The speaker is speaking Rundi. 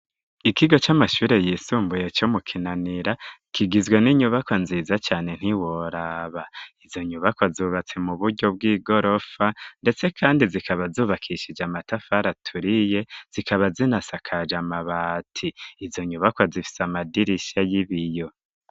Ikigo c'amashure yisumbuye co mu kinanira kigizwe n'inyubako nziza cane ntiworaba izo nyubako zubatse mu buryo bw'igorofa ndetse kandi zikaba zubakishije amatafara aturiye zikaba zinasakaje amabati izo nyubako zifise amadirishya y'ibiyo.